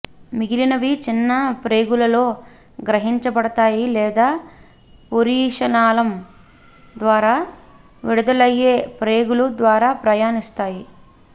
మిగిలినవి చిన్న ప్రేగులలో గ్రహించబడతాయి లేదా పురీషనాళం ద్వారా విడుదలయ్యే ప్రేగుల ద్వారా ప్రయాణిస్తాయి